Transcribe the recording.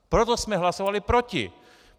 Proto jsme hlasovali proti!